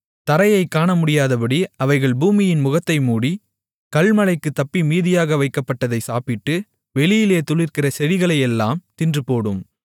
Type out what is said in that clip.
தரையை காணமுடியாதபடி அவைகள் பூமியின் முகத்தை மூடி கல்மழைக்குத் தப்பி மீதியாக வைக்கப்பட்டதைச் சாப்பிட்டு வெளியிலே துளிர்க்கிற செடிகளையெல்லாம் தின்றுபோடும்